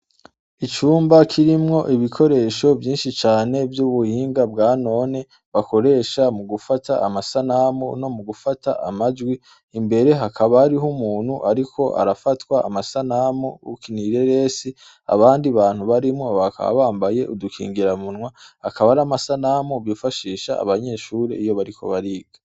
Icumba kirimwo ibikoresho vyinshi cane vy'ubuhinga bwa none bakoresha mu gufata amasanamu no mu gufata amajwi imbere hakabariho umuntu, ariko arafatwa amasanamu uknireresi abandi bantu barimwo bakaabambaye udukingira munwa akaba ari amasanamu fashisha abanyeshure iyo bariko bariga.